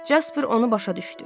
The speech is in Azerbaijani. Jasper onu başa düşdü.